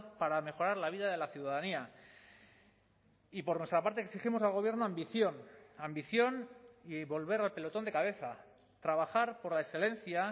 para mejorar la vida de la ciudadanía y por nuestra parte exigimos al gobierno ambición ambición y volver al pelotón de cabeza trabajar por la excelencia